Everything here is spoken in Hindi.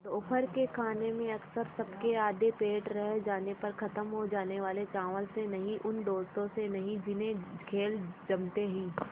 दोपहर के खाने में अक्सर सबके आधे पेट रह जाने पर ख़त्म हो जाने वाले चावल से नहीं उन दोस्तों से नहीं जिन्हें खेल जमते ही